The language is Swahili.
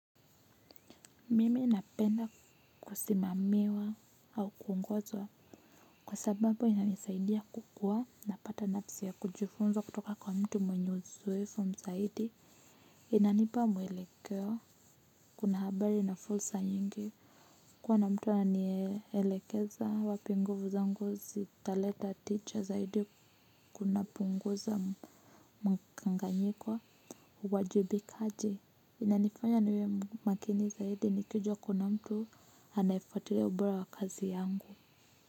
Mimi napenda kusimamiwa au kuungozwa. Kwa sababu inanisaidia kukua na pata nafasi ya kujufunza kutoka kwa mtu mwenye uzowefu zaidi. Inanipa mwelekeo. Kuna habari na fursa yingi. Kuwa na mtu ananielekeza wapi nguvu zangu zitaleta tija zaidi kuna punguza mkanganyiko kwa wajibikaji. Inanifanya niwe makini zaidi nikijuwa kuna mtu anafatilia ubora wa kazi yangu.